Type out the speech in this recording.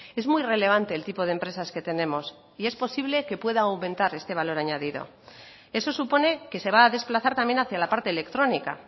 es muy relevante el tipo de empresas que tenemos y es posible que pueda aumentar este valor añadido eso supone que se va a desplazar también hacia la parte electrónica